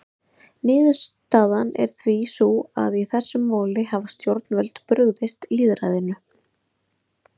Niðurstaðan er því sú að í þessum máli hafa stjórnvöld brugðist lýðræðinu.